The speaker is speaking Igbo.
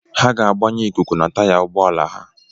Ha ga-agbanye ikuku na taya ụgbọala ha.